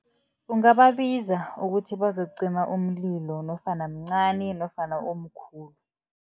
Ungababiza ukuthi bazokucima umlilo nofana mncani nofana umkhulu.